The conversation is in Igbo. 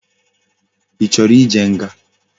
Ichoro ije nga?